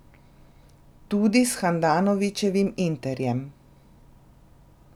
Tudi s Handanovićevim Interjem.